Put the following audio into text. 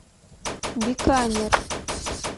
биканер